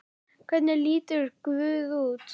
Hvernig lítur guð út?